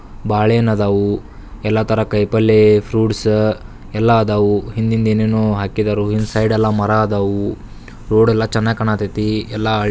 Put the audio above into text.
ಬಾಳೆಹಣ್ಣು ಇದ್ದವು .ಎಲ್ಲಾ ತರದ ಕೈಪಲ್ಯ ಫ್ರೂಟ್ಸ್ ಎಲ್ಲ ಇದವು ಹಿಂದಿನ ದಿನ ಹಾಕಿದರು ಇಲ್ಲಿ ಸೈಡೆಲ್ಲ ಮರ ಅದವು ರೋಡೆಲ್ಲಾ ಚೆನ್ನಾಗ್ ಕಾಣಕ್ಕತ್ತಿ ಎಲ್--